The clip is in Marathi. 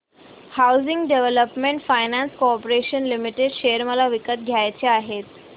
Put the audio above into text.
housing development finance corporation limited share मला विकत घ्यायचे आहेत